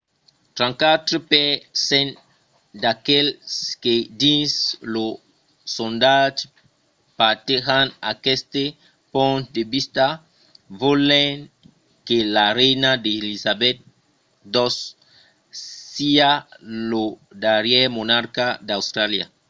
34 per cent d’aqueles que dins lo sondatge partejan aqueste ponch de vista volent que la reina d’elizabeth ii siá lo darrièr monarca d’austràlia